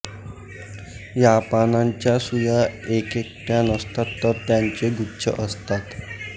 या पानांच्या सुया एकेकट्या नसतात तर त्यांचे गुच्छ असतात